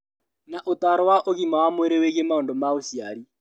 Na ũtaaro wa ũgima wa mwĩrĩ wĩgiĩ maũndũ ma ũciari